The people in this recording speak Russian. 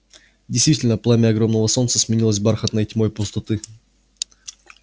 действительно пламя огромного солнца сменилось бархатной тьмой пустоты